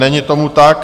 Není tomu tak.